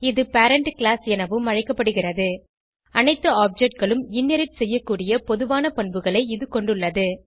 இது parent class எனவும் அழைக்கப்படுகிறது அனைத்து objectகளும் இன்ஹெரிட் செய்யக்கூடிய பொதுவான பண்புகளை இது கொண்டுள்ளது